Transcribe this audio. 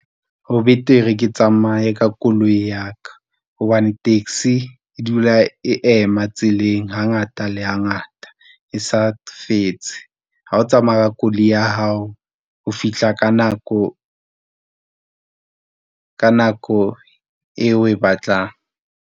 Ho betere ke tsamaye ka koloi ya ka, hobane taxi e dula e ema tseleng hangata le hangata e sa fetse ha o tsamaya ka koloi ya hao ho fihla ka nako eo o e batlang.